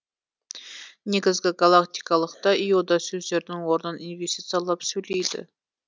негізгі галактикалықта йода сөздердің орнын инвестициалап сөйлейді